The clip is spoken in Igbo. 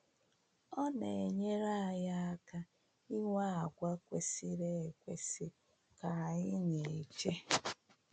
Ọ na-enyere anyị aka ịnwe àgwà kwesịrị ekwesị ka anyị na-eche.